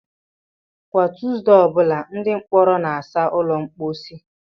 Kwa Tuesday ọ bụla, ndị mkpọrọ na-asa ụlọ mposi.